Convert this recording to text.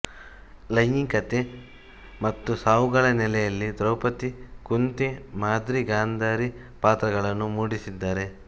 ಲೈಂಗಿಕತೆ ಮತ್ತು ಸಾವುಗಳ ನೆಲೆಯಲ್ಲಿ ದ್ರೌಪದಿ ಕುಂತಿ ಮಾದ್ರಿ ಗಾಂಧಾರಿ ಪಾತ್ರಗಳನ್ನು ಮೂಡಿಸಿದ್ದಾರೆ